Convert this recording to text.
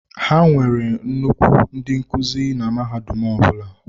Ha nwere nnukwu ndị nkuzi na mahadum ọ bụla.